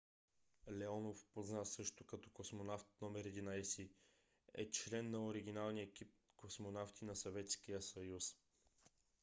леонов познат също като космонавт № 11 е член на оригиналния екип космонавти на съветския съюз